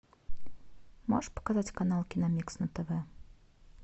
можешь показать канал киномикс на тв